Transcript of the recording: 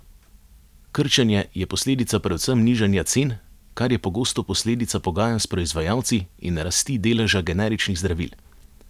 Krčenje je posledica predvsem nižanja cen, kar je pogosto posledica pogajanj s proizvajalci, in rasti deleža generičnih zdravil.